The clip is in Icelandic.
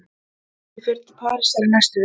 Ég fer til Parísar í næstu viku.